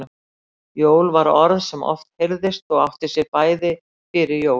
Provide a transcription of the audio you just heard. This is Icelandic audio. Jól var orð sem oft heyrðist og átti sér bæði fyrir jól